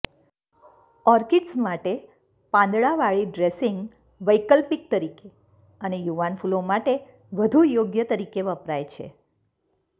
orchids માટે પાંદડાંવાળી dressing વૈકલ્પિક તરીકે અને યુવાન ફૂલો માટે વધુ યોગ્ય તરીકે વપરાય છે